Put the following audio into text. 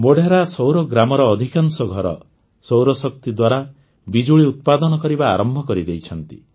ମୋଢେରା ସୌର ଗ୍ରାମର ଅଧିକାଂଶ ଘର ସୌରଶକ୍ତି ଦ୍ୱାରା ବିଜୁଳି ଉତ୍ପାଦନ କରିବା ଆରମ୍ଭ କରିଦେଇଛନ୍ତି